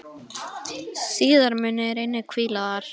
Síðar munu þeir einnig hvíla þar.